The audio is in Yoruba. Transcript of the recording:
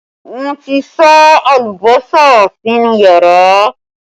Wọn ti sá alùbọ́sà sínú yàrá